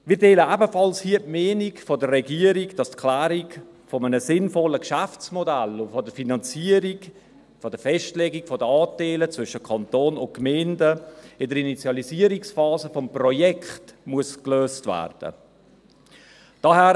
Wir teilen hier ebenfalls die Meinung der Regierung, dass die Klärung eines sinnvollen Geschäftsmodells und der Finanzierung, der Festlegung der Anteile zwischen Kanton und Gemeinden, in der Initialisierungsphase des Projekts gelöst werden muss.